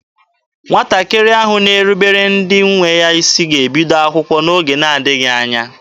Nwatakịrị ahụ na-erubere ndị nwe ya isi ga-ebido akwụkwọ n'oge na-adịghị anya.